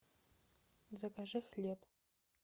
закажи хлеб